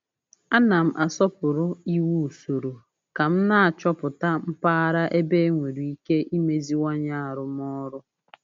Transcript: A na m asọpụrụ iwu usoro ka m na-achọpụta mpaghara ebe enwere ike imeziwanye arụmọrụ